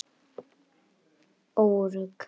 Þar er hún örugg.